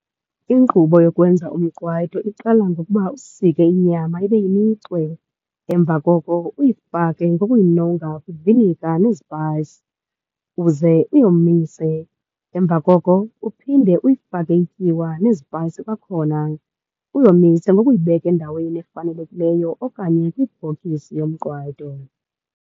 Inkqubo yokwenza umqwayito iqala ngokuba usike inyama ibe yimicwe. Emva koko uyifake ngokuyinonga kwivinika nezipayisi uze uyomise. Emva koko uphinde uyifake ityiwa nezipayisi kwakhona, uyomise ngokuyibeka endaweni efanelekileyo okanye kwibhokisi yomqwayito.